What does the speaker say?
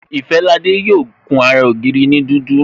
Ifalade yo kun ara ògiri ni dudu